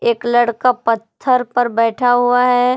एक लड़का पत्थर पर बैठा हुआ है।